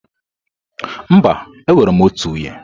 Mba, enwere m otu nwunye.